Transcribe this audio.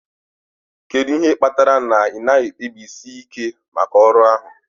Kedu ihe kpatara na ị naghị ekpebisi ike maka ọrụ ahụ?